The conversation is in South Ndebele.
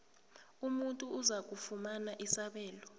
umuntu ozakufumana isabelo